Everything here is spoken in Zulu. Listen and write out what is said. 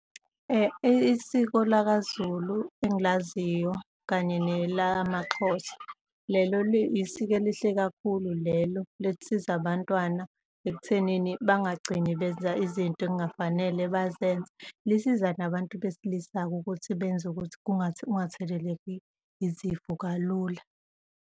Isiko lakaZulu engilaziyo kanye nelamaXhosa, lelo liyisiko elihle kakhulu lelo, lisiza abantwana ekuthenini bangagcini benza izinto ekungafanele bazenze, lisiza nabantu besilisa ukuthi benze ukuthi kungatheleleki izifo kalula.